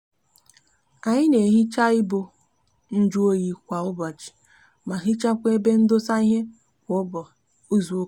anyi n'ehicha ibo njuoyi kwa ubochi ma hichakwa ebe ndosa ihe kwa izuuka